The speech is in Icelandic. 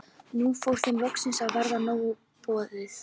Nú fór þeim loks að verða nóg boðið.